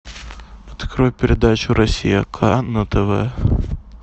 открой передачу россия ка на тв